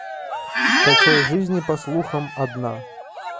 скачай жизнь по слухам одна